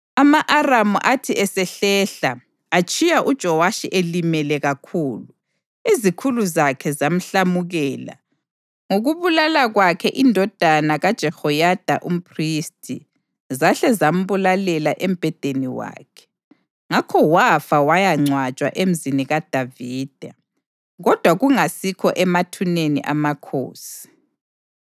Ama-Aramu athi esehlehla, atshiya uJowashi elimele kakhulu. Izikhulu zakhe zamhlamukela ngokubulala kwakhe indodana kaJehoyada umphristi, zahle zambulalela embhedeni wakhe. Ngakho wafa wayangcwatshwa eMzini kaDavida, kodwa kungasikho emathuneni amakhosi.